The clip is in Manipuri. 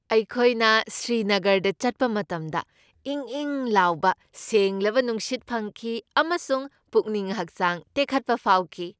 ꯑꯩꯈꯣꯏꯅ ꯁ꯭ꯔꯤꯅꯒꯔꯗ ꯆꯠꯄ ꯃꯇꯝꯗ ꯏꯪ ꯏꯪ ꯂꯥꯎꯕ ꯁꯦꯡꯂꯕ ꯅꯨꯡꯁꯤꯠ ꯐꯪꯈꯤ ꯑꯃꯁꯨꯡ ꯄꯨꯛꯅꯤꯡ ꯍꯛꯆꯥꯡ ꯇꯦꯛꯈꯠꯄ ꯐꯥꯎꯈꯤ ꯫